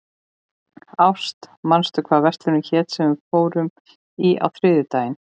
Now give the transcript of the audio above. Ást, manstu hvað verslunin hét sem við fórum í á þriðjudaginn?